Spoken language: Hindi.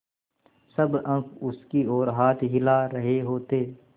सब अंक उसकी ओर हाथ हिला रहे होते